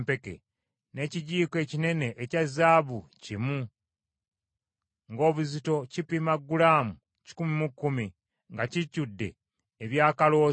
n’ekijiiko ekinene ekya zaabu kimu ng’obuzito kipima gulaamu kikumi mu kkumi, nga kijjudde ebyakaloosa;